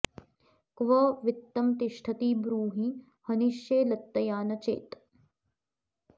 क्व वित्तं तिष्ठति ब्रूहि हनिष्ये लत्तया न चेत्